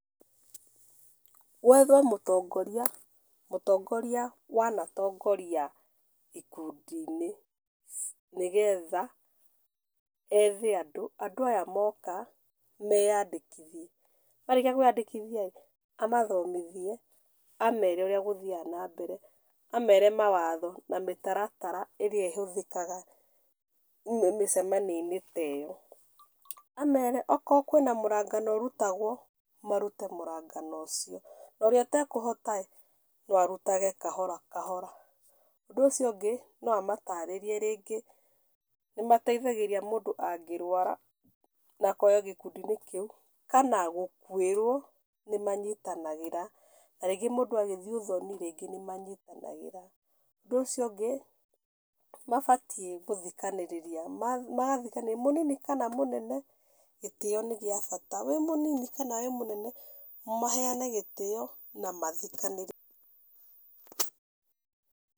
Gwethwo mũtongoria, mũtongoria wanatongoria ikundinĩ, nĩgetha, ethe andũ, andũ aya moka, meyandĩkithie. Marĩkia kwandĩkithia rĩ, amathomithie, amere ũrĩa gũthiaga nambere, amere mawatho na mĩtaratara ĩrĩa ĩhũthĩkaga, mĩcemanioinĩ ta ĩyo, amere okorwo kwĩna mũrangano ũrutagwo, marute mũrangano ũcio, na ũrĩa atekũhota, no arutage kahora kahora, ũndũ ũcio ũngĩ, no amatarĩrie rĩngĩ, nĩ mateithagĩrĩria mũndũ angĩrwara, na akorwo gĩkũndinĩ kĩu, kana gũkuĩrwo, nĩmanyitanagĩra, na rĩngĩ mũndũ agĩthiĩ ũthoni rĩngĩ nĩmanyitanagĩra, ũndũ ũcio ũngĩ, nĩmabatiĩ gũthikanĩrĩria, mathikanĩrĩria mũnini kana mũnene, gĩtio nĩgĩabata, wĩ mũnini kana wĩ ,mũnene, maheane gĩtio na mathĩkanĩre.